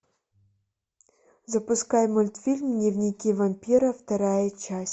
запускай мультфильм дневники вампира вторая часть